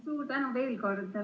Suur tänu veel kord!